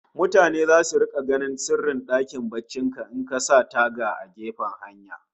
Mutane zasu rika ganin sirrin dakin barcin ka in ka sa taga a gefen hanya